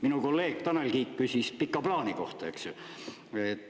Minu kolleeg Tanel Kiik küsis pika plaani kohta, eks ju.